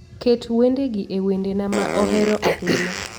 Ket wendegi e wendena ma ohero ahinya